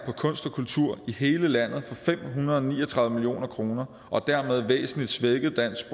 kunst og kultur i hele landet for fem hundrede og ni og tredive million kroner og dermed væsentlig svækket dansk